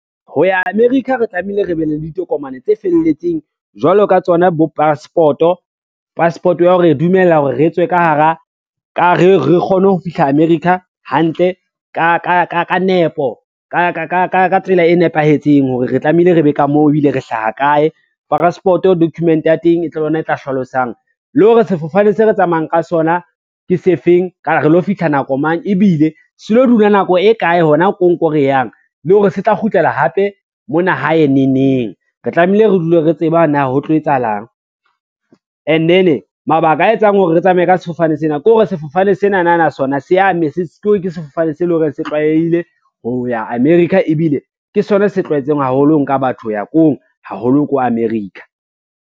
Ho ya America, re tlamehile re be le ditokomane tse felletseng jwalo ka tsona bo passport-o. Passport ya ho re dumella hore re tswe ka re re kgone ho fihla America hantle ka nepo, ka tsela e nepahetseng hore re tlamehile re be ka moo, ebile re hlaha kae. Passport-o document ya teng ke yona e tla hlalosang le hore sefofane se re tsamayang ka sona ke se feng, re lo fihla nako mang, ebile se lo dula nako e kae hona ko ko re yang le hore se tla kgutlela hape mona hae neng neng, re tlamehile re dule re tseba na ho tlo etsahalang. And then mabaka a etsang hore re tsamaya ka sefofane sena ke hore sefofane sena na na sona ke sefofane se leng hore se tlwaelehile ho ya America ebile, ke sona se tlwaetseng haholo ho nka batho ho ya koo haholo ko America.